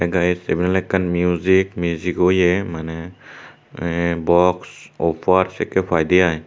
tey he table ekkan music o ye mane yen box uffher sekki paidey i.